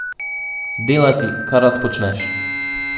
Delati, kar rad počneš.